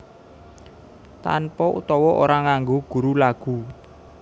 Tanpa utawa ora nganggo guru lagu